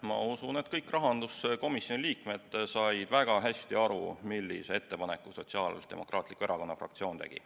Ma usun, et kõik rahanduskomisjoni liikmed said väga hästi aru, millise ettepaneku Sotsiaaldemokraatliku Erakonna fraktsioon tegi.